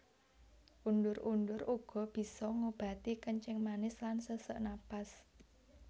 Undur undur uga bisa ngobati kencing manis lan sesek napas